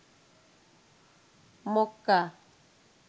Mecca